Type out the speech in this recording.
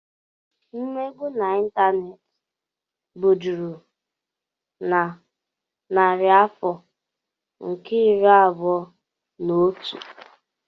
Mmegbu n'Ịntaneti bụ juru na narị afọ nke iri abụọ na otu.